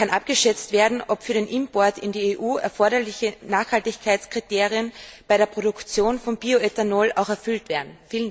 Kann abgeschätzt werden, ob für den Import in die EU erforderliche Nachhaltigkeitskriterien bei der Produktion von Bioethanol auch erfüllt werden?